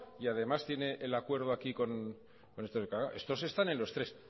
y además tiene el acuerdo aquí con estos claro estos están en los tres